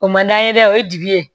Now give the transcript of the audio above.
O man d'an ye dɛ o ye jigi ye